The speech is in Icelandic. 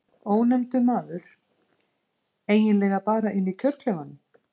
Ónefndur maður: Eiginlega bara inni í kjörklefanum?